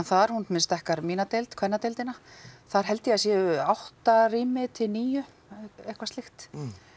þar hún til dæmis dekkar mína deild kvennadeildina þar held ég að séu átta rými til níu eitthvað slíkt